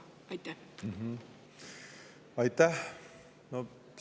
Aitäh!